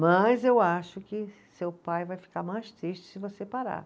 Mas eu acho que seu pai vai ficar mais triste se você parar.